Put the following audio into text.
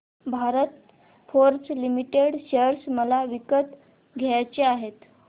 Bharat Forge limited share मला विकत घ्यायचे आहेत